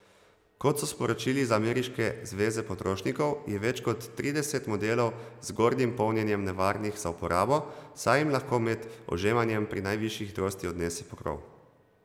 Kot so sporočili z ameriške zveze potrošnikov, je več kot trideset modelov z zgornjim polnjenjem nevarnih za uporabo, saj jim lahko med ožemanjem pri najvišji hitrosti odnese pokrov.